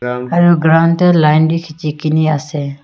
ground dae line bi kiji kini ase.